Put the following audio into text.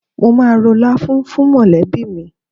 Mo máa ro láfún fún mọ̀lẹ́bí mi.